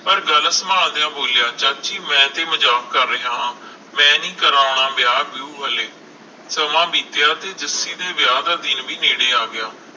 ਪਰ ਗੱਲ ਸੰਭਾਲ ਦੀਆ ਬੋਲਿਆ ਚਾਚੀ ਮੈਂ ਤੇ ਮਜਾਕ ਕਰ ਰਿਹਾ ਹਾਂ ਮੈਂ ਨੀ ਕਰਾਉਣਾ ਵਿਆਹ ਵਿਉਹ ਹਲੇ ਸਮਾ ਬੀਤਿਆ ਤੇ ਜੱਸੀ ਦੇ ਵਿਆਹ ਦਾ ਦਿਨ ਵੀ ਨੇੜੇ ਆਗਿਆ